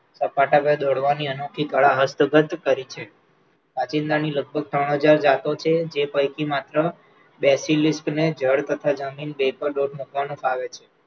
સપાટા દોરવાની અનોખી કળા હસ્તબદ્ધ કરી છે, કાંચિડાની લગભગ ત્રણ હજાર જાતો છે, જે પૈકી માત્ર ને જળ તથા જમીન બે પર પગ મુકવાનું ફાવે છે.